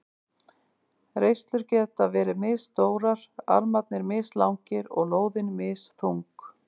Reislur geta verið misstórar, armarnir mislangir og lóðin misþung.